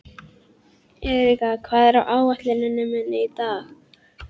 Þeir voru einkennisdýr á efri hluta fornlífsaldar.